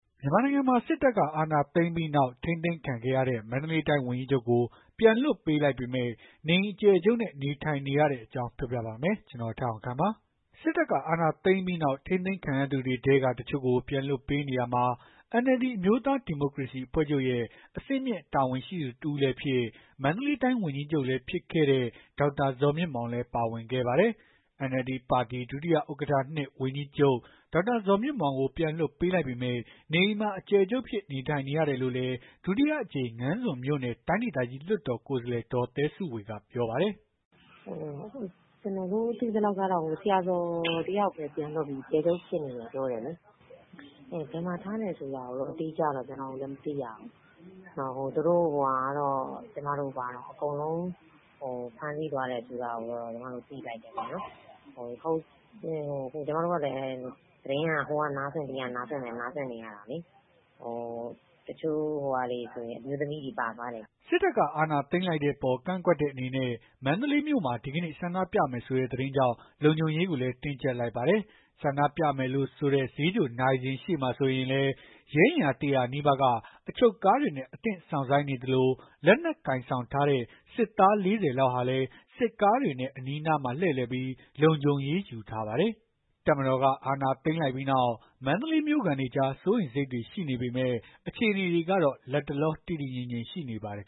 မြန်မာနိုင်ငံမှာ စစ်တပ်က အာဏာသိမ်းလိုက်ပြီးနောက် ထိန်းသိမ်းခံခဲ့ရတဲ့ မန္တလေးတိုင်းဝန်ကြီးချုပ်ကို ပြန်လွှတ်ပေးလိုက်ပေမဲ့ နေအိမ်အကျယ်ချုပ်နဲ့ နေထိုင်နေရတဲ့အကြောင်း ပြောပြပါမယ်။ ဗွီအိုအေမြန်မာပိုင်း သတင်းထောက် ကိုထက်အောင်ခန့်က သတင်းပေးပို့ထားပါတယ်။ စစ်တပ်က အာဏာသိမ်းလိုက်ပြီးနောက် ထိန်းသိမ်းခံလိုက်ရသူတွေထဲက တချို့ကို ပြန်လွှတ်ပေးနေရာမှာ NLD အမျိုးသား ဒီမိုကရေစီ အဖွဲ့ချုပ်ရဲ့ အဆင့်မြင့်တာဝန်ရှိသူ တဦးလည်းဖြစ် မန္တလေးတိုင်း ဝန်ကြီးချုပ်လည်းဖြစ်တဲ့ ဒေါက်တာဇော်မြင့်မောင်လည်း ပါဝင်ခဲ့ပါတယ်။ NLD ပါတီ ဒုဥက္ကဋ္ဌ ၂ ဝန်ကြီးချုပ် ဒေါက်တာဇော်မြင့်မောင်ကို ပြန်လွှတ်ပေးလိုက်ပေမဲ့ နေအိမ်မှာ အကျယ်ချုပ်အဖြစ် နေထိုင်နေရတယ်လို့လည်း ဒုတိယအကြိမ် ငါန်းဇွန်မြို့နယ် တိုင်းဒေသကြီး လွှတ်တော် ကိုယ်စားလှယ် ဒေါ်သဲစုဝေ ကပြောပါတယ်။ “ကျမတို့ သိသလောက်တော့ ဆရာဇော်တယောက်ပဲ ပြန်လွတ်ပြီး နေအိမ် အကျယ်ချုပ်ဖြစ်နေတယ်ပြောတယ်လေ။ ဘယ်မှာထားတယ်ဆိုတာကိုတော့ အတိအကျမသိရဘူး။ အကုန်လုံးဖမ်းဆီးသွားတယ်လို့ သိလိုက်တယ်ပေါ့။ ကျမတို့ကလည်း သတင်းက ဟိုကနားစွင့် ဒီကနားစွင့် နေရတာလေ တချို့ဆို အမျိုးသမီးတွေ ပါသွားတယ်ကြားတယ်။” စစ်တပ်က အာဏာသိမ်းလိုက်တဲ့အပေါ် ကန့်ကွက်တဲ့ အနေနဲ့ မန္တလေးမြို့မှာ ဒီကနေ့ ဆန္ဒပြမယ်ဆိုတဲ့ သတင်းကြောင့် လုံခြုံရေးကိုလည်း တင်းကြပ်လိုက်ပါတယ်။ ဆန္ဒပြမယ်လို့ဆိုတဲ့ ဈေးချိုနာရီစင်ရှေ့မှာဆိုရင်လည်း ရဲအင်အား ၁၀၀ နီးပါးက အချုပ်ကားတွေနဲ့ အသင့် စောင့်ဆိုင်းနေသလို၊ လက်နက်ကိုင်ဆောင်ထားတဲ့ စစ်သား ၄၀ လောက်ဟာလည်း စစ်ကားတွေနဲ့ အနီးအနားမှာ လှည့်လည်ပြီး လုံခြုံရေး ယူထားပါတယ်။ တပ်မတော်က အာဏာသိမ်းလိုက်ပြီးနောက် မန္တလေးမြို့ခံတွေကြား စိုးရိမ်စိတ်တွေရှိနေပေမဲ့ အခြေအနေတွေကတော့ လတ်တလော တည်တည်ငြိမ်ငြိမ်ရှိနေပါတယ်